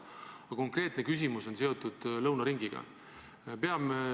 Aga konkreetne küsimus on seotud lõunaringiga.